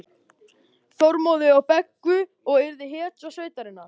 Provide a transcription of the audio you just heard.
Þormóði og Beggu og yrði hetja sveitarinnar.